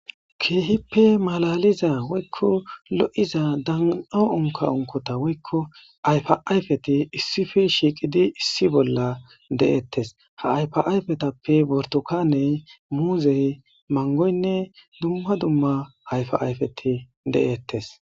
Keehippe malaliza woykko lo'iza dan'o unkka unkota woykko ayfa ayfeti issippe shiiqidi issi bolla de'etees. Ha ayfa ayfetappe burtukane, muuzey, mangoynne dumma dumma ayfa ayfeti de'eetees.